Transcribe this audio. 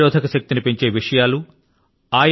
వ్యాధి నిరోధక శక్తి ని పెంచే విషయాలు